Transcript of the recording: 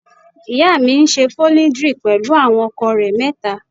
Ìyá mi ńṣe polidri pẹlú àwọn ọkọ rẹ mẹta.